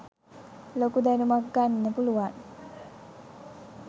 ලොකු දැනුමක් ගන්න පුළුවන්.